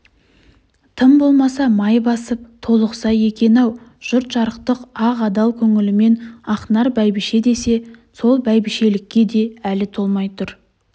тым болмаса май басып толықса екен-ау жұрт жарықтық ақ-адал көңілімен ақнар бәйбіше десе сол бәйбішелікке де әлі толмай тұр